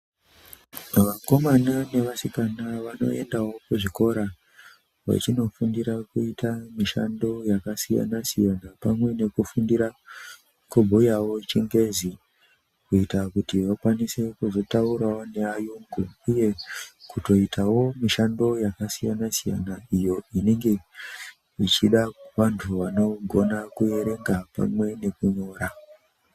Vanokamana nevasikana vanoendawo kuzvikora, vechinofundira kuita mishando yakasiyana-siyana pamwe nekufundira kubhuyawo chingezi kuita kuti vakwanise kuzotaurawo neayungu uye kutoitawo mishando yakasiyana -siyana iyo ichida vantu vanogona kuverenga pamwe nekunyora.